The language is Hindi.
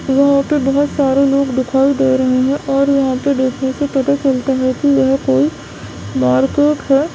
बोहोत सारे लोग दिखाई दे रहे हैं और यहाँ पे देखने से पता चलता है की यह कोई मार्केट है।